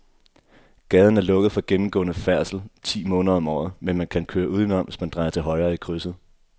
Gaden er lukket for gennemgående færdsel ti måneder om året, men man kan køre udenom, hvis man drejer til højre i krydset.